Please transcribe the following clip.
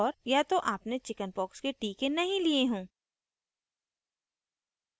* या तो आपने chickenpox के टीके नहीं लिए हों